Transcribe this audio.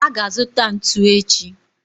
a ga-azuta ntu echi